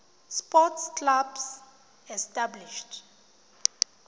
sports clubs established